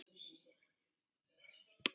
Sýndi enginn iðrun?